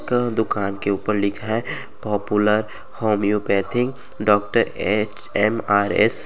क-दुकान के ऊपर लिखा है पॉपुलर होमियोपेथी डॉक्टर एचएमआरएस --